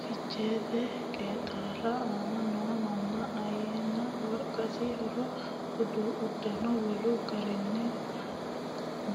Ficheete qeexaali aana noo manna ayyaanna wolqasi haaro uddano Wolu garinnino